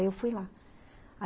Aí eu fui lá.